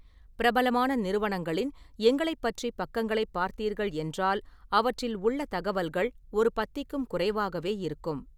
பிரபலமான நிறுவனங்களின் "எங்களைப் பற்றி" பக்கங்களைப் பார்த்தீர்கள் என்றால் அவற்றில் உள்ள தகவல்கள் ஒரு பத்திக்கும் குறைவாகவே இருக்கும்.